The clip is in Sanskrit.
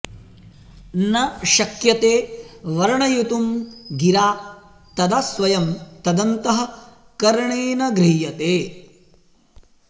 न शक्यते वर्णयितुं गिरा तदा स्वयं तदन्तःकरणेन गृह्यते